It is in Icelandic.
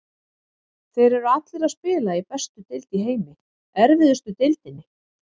Þeir eru allir að spila í bestu deild í heimi, erfiðustu deildinni.